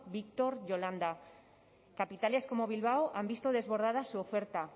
víctor yolanda capitales como bilbao han visto desbordadas su oferta